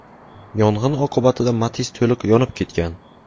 Yong‘in oqibatida Matiz to‘liq yonib ketgan.